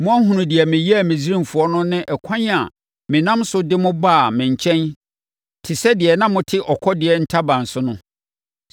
‘Moahunu deɛ meyɛɛ Misraimfoɔ no ne ɛkwan a menam so de mo baa me nkyɛn te sɛ deɛ na mote ɔkɔdeɛ ntaban so no.